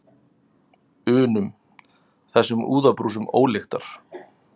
unum, þessum úðabrúsum ólyktar.